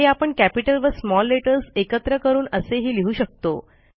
हे आपण कॅपिटल व स्मॉल लेटर्स एकत्र करून असेही लिहू शकतो